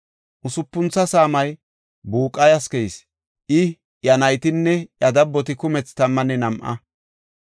Usupuntho saamay Buqayas keyis; I, iya naytinne iya dabboti kumethi tammanne nam7a.